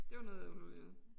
Det var noget underligt noget